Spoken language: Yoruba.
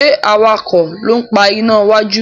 ṣe awakọ̀ ló ń pá iná wájú?